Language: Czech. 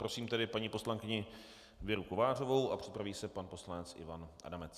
Prosím tedy paní poslankyni Věru Kovářovou a připraví se pan poslanec Ivan Adamec.